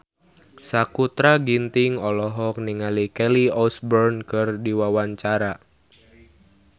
Sakutra Ginting olohok ningali Kelly Osbourne keur diwawancara